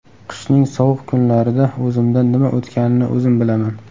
Qishning sovuq kunlarida o‘zimdan nima o‘tganini o‘zim bilaman.